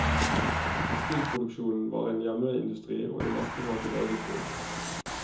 Tekstilproduksjonen var en hjemmeindustri og det meste var til eget bruk.